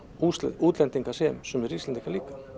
útlendingar sem sumir Íslendingar